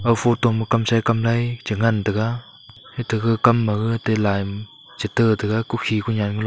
aga photo ma kamsai kam nai chi ngantaga ito gag kam ma gag te lime chi tah taga kokhi khonyan galo.